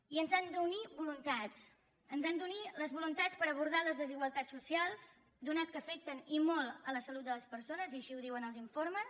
i ens han d’unir voluntats ens han d’unir les voluntats per abordar les desigualtats socials atès que afecten i molt la salut de les persones i així ho diuen els informes